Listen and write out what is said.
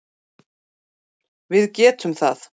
Við getum það